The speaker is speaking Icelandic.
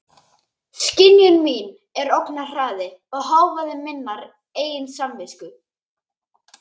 Skynjun mín er ógnarhraði og hávaði minnar eigin samvisku.